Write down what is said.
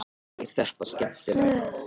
Þórhildur: Er þetta skemmtilegt?